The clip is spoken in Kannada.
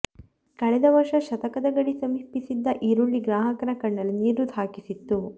ಕಳೆದ ವರ್ಷ ಶತಕದ ಗಡಿ ಸಮೀಪಿಸಿದ್ದ ಈರುಳ್ಳಿ ಗ್ರಾಹಕನ ಕಣ್ಣಲ್ಲಿ ನೀರು ಹಾಕಿಸಿತ್ತು